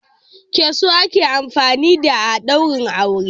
Keso ake amfani da a ɗaure wuri.